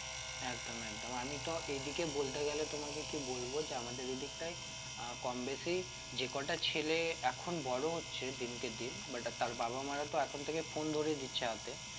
একদম একদম আমি তো এদিকে বলতে গেলে তোমাকে কি বলবো যে আমাদের এই দিকটায় আহ কমবেশি যে কটা ছেলে এখন বড় হচ্ছে দিনকে দিন but তার বাবা মারা তো এখন থেকে phone ধরিয়ে দিচ্ছে হাতে